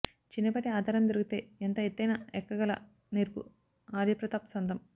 చిన్నపాటి ఆధారం దొరికితే ఎంత ఎత్తయిన ఎక్కగల నేర్పు ఆర్యప్రతాప్ సొంతం